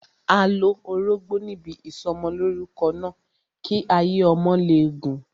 A lo orógbó níbi ìsọmọlórúkọ náà, kí ayé ọmọ lè gùn.